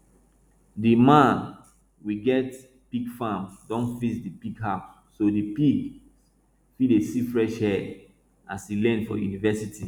di man we get pig farm don fix di pig house so di pigs fit dey see fresh air as e learn for university